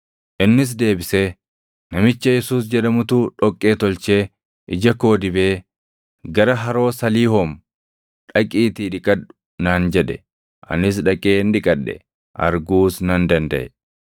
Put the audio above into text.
Innis deebisee, “Namicha Yesuus jedhamutu dhoqqee tolchee ija koo dibee, ‘Gara Haroo Saliihoom dhaqiitii dhiqadhu’ naan jedhe; anis dhaqeen dhiqadhe; arguus nan dandaʼe.”